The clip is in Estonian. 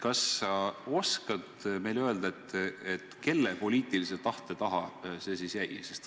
Kas sa oskad meile öelda, kelle poliitilise tahte taha see jäi?